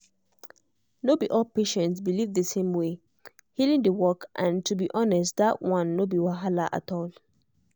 no be all patients believe the same way healing dey work and to be honest that one no be wahala at all.